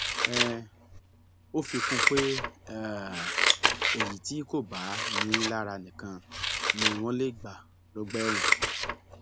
um ó fi kún un pé um èyí tí kò bá ni ín lára nìkan ni wọn lè gbà lọgbà ẹwọn